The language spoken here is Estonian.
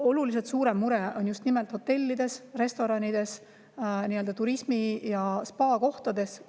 Oluliselt suurem mure on just nimelt hotellides, restoranides, spaades ja turismiga seotud kohtades.